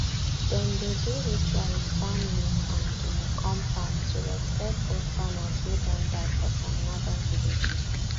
dem dey do ritual with palm leaf and guinea corn pap to respect old farmers way don die for some northern villages